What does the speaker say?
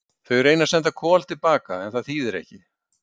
Þau reyna að senda Kol til baka en það þýðir ekki.